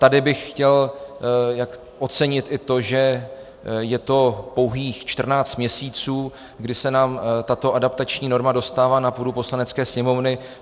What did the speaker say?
Tady bych chtěl ocenit i to, že je to pouhých 14 měsíců, kdy se nám tato adaptační norma dostává na půdu Poslanecké sněmovny.